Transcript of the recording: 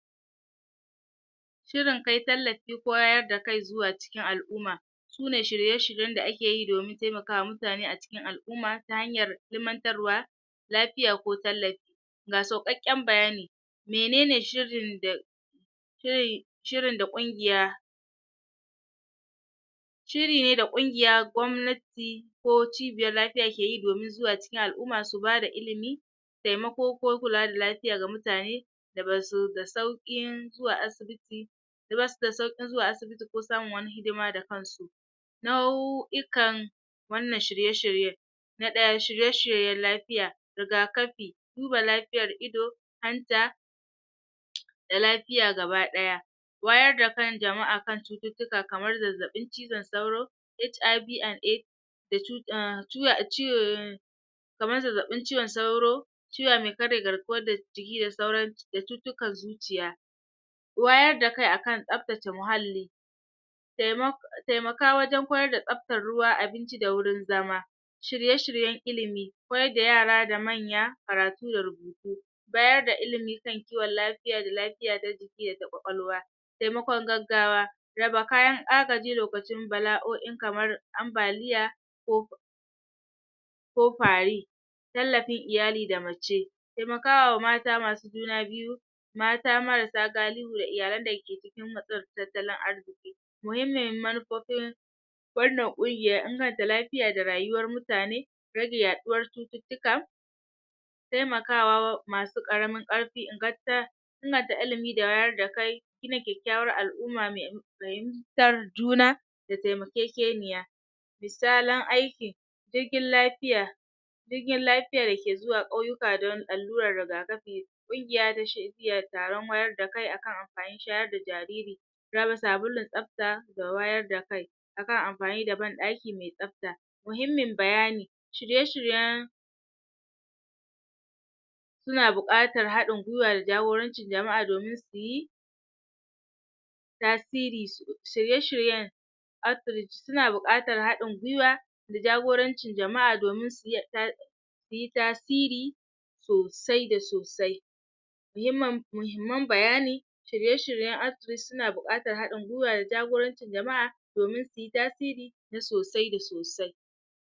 shirin kai tallafi koyar da kai zuwa cikin al'umma sune shirye-shiryen da ake yi domin temakawa mutane a cikin al'umma ta hanyar ilimantarwa lafiya ko tallafi ga sauƙaƙƙen bayani menene shirin da shirin da ƙungiya shiri ne da ƙungiya, gwamnati ko cibiyar lafiya ke yi domin zuwa cikin al'umma su bada ilimi temako ko kula da lafiya ga mutane da basu da sauƙin zuwa asibiti da basu da sauƙin zuwa asibiti ko samun wata hidima da kan su nau'ikan wannan shirye-shiryen na ɗaya shirye-shiryen lafiya rigakafi duba lafiyar ido hanta da lafiya gaba ɗaya wayar da kan jama'a kan cututtuka kamar zazzaɓin cizon sauro HIV and AID da um kamar zazzaɓin cizon sauro ciwo me karya garkuwar jiki da sauran da cutukan zuciya wayar da kai akan tsabtace muhalli temaka wajen koyar da tsabtar ruwa, abinci da wurin zama shirye-shiryen ilimi koyar da yara da manya karatu da rubutu bayar da ilimi kan kiwon lafiya da lafiya ta jiki da ƙwaƙwalwa temakon gaggawa raba kayan agaji lokacin bala'o'i kamar ambaliya ko ko fari tallafin iyali da mace temakawa mata masu juna biyu mata marasa galihu da iyalan da ke cikin matsin tattalin arziƙi muhimmin manufofin wannan ƙungiya, inganta lafiya da rayuwar mutane rage yaɗuwar cututtuka temakawa masu ƙaramin ƙarfi inganta ilimi da wayar da kai gina kyakkyawar al'umma me fahimtar juna da temakekeniya misalan aiki jirgin lafiya jirgin lafiya da ke zuwa ƙauyuka don allurar rigakafi ƙugiya da taron wayar da kai akan amfanin shayar da jariri raba sabulun tsabta da wayar da kai akan amfani da ban ɗaki me tsabta muhimmin bayani shirye-shiryen suna buƙatar haɗin gwiwa da jagorancin jama'a domin su yi tasiri shirye-shiryen outreach suna buƙatar haɗin gwiwa da jagorancin jama'a domin suy suyi tasiri sosai da sosai muhimman bayani shirye-shiryen outreach suna buƙatar haɗin gwiwa da jagorancin jama'a domin suyi tasiri na sosai da sosai